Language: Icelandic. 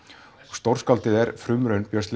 stórskáldið er frumraun Björns